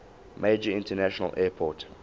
major international airport